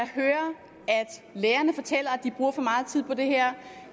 lærerne fortæller at de bruger for meget tid på det her